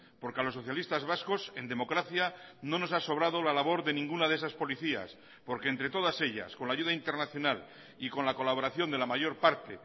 porque a los socialistas vascos en democracia no nos ha sobrado la labor de ninguna de esas policías porque entre todas ellas con la ayuda internacional y con la colaboración de la mayor parte